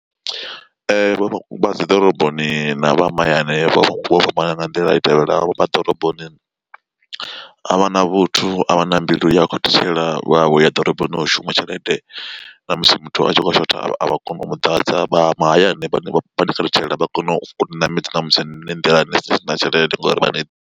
Vha dzi ḓoroboni na vha mahayani vho fhambana nga nḓila i tevhelaho, vha ḓoroboni a vha na vhuthu a vha na mbilu yo khathutshela vha vho ya ḓoroboni u shuma tshelede na musi muthu a tshi khou shotha avha koni u muḓadza. Vha mahayani vha khathutshela vha kona uni ṋamedza na musi ni nḓilani ni si na tshelede ngori vha.